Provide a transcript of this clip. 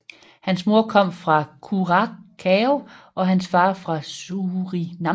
Hans mor kommer fra Curaçao og hans far fra Surinam